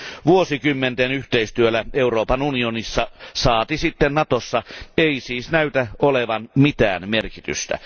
Vuosikymmenten yhteistyöllä Euroopan unionissa saati sitten Natossa ei siis näytä olevan mitään merkitystä.